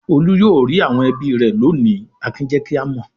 "Olú yóò rí àwọn ẹbí rẹ̀ lónìí!" Akin jẹ́ kí a mọ̀.